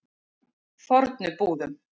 Fornubúðum